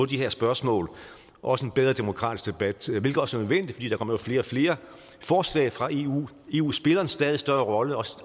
de her spørgsmål og også en bedre demokratisk debat hvilket også er jo kommer flere og flere forslag fra eu eu spiller en stadig større rolle også